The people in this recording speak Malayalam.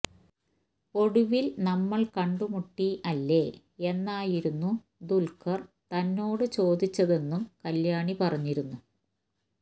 ഒടുവില് നമ്മള് കണ്ടുമുട്ടി അല്ലേയെന്നായിരുന്നു ദുല്ഖര് തന്നോട് ചോദിച്ചതെന്നും കല്യാണി പറഞ്ഞിരുന്നു